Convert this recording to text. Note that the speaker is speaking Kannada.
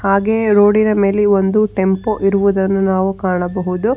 ಹಾಗೆ ರೋಡಿನ ಮೇಲೆ ಒಂದು ಟೆಂಪೋ ಇರುವುದನ್ನು ನಾವು ಕಾಣಬಹುದು.